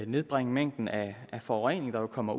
nedbringe mængden af forurening der kommer